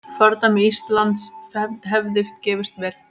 Fordæmi Íslands hefði gefist vel.